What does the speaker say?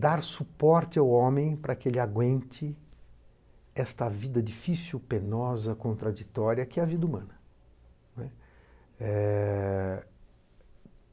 dar suporte ao homem para que ele aguente esta vida difícil, penosa, contraditória que é a vida humana, né, é...